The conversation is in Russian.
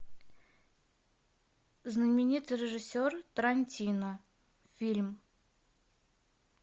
знаменитый режиссер тарантино фильм